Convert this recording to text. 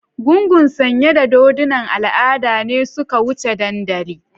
gungun sanye da dodunan al'ada ne suka wuce dandali.